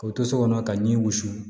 Ka to so kɔnɔ ka ɲin wusu